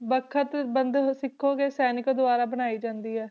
ਵਖ਼ਤ ਬੰਦ ਸਿੱਖੋਗੇ ਸੈਨਿਕਾਂ ਦੁਆਰਾ ਬਣਾਈ ਜਾਂਦੀ ਹੈ।